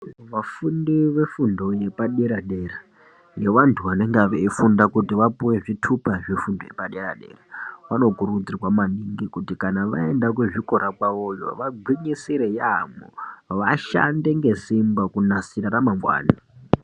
Vafundi vefundo yepadera-dera yevantu vanenge veifunda kuti vapiwe zvitupa zvefundo yepadera-dera vanokurudzirwa maningi kuti vaenda kuzvikora kwavoyo vagwinyisire yaamho vashande ngesimba kunasira ramangwani.